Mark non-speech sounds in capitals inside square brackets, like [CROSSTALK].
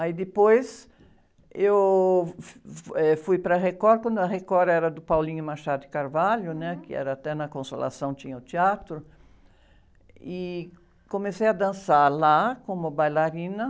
Aí depois eu, [UNINTELLIGIBLE] eh, fui para a Record, quando a Record era do, [UNINTELLIGIBLE] né? Que até na Consolação tinha o teatro, e comecei a dançar lá como bailarina.